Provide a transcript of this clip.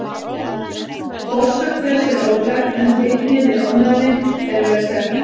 Orsök þess er óþekkt en fylgni við ofnæmi er vel þekkt.